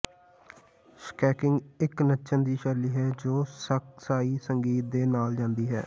skanking ਇੱਕ ਨੱਚਣ ਦੀ ਸ਼ੈਲੀ ਹੈ ਜੋ ਸਕ ਸਾਈਂ ਸੰਗੀਤ ਦੇ ਨਾਲ ਜਾਂਦੀ ਹੈ